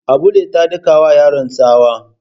Abulle ta daka wa yaron tsawa.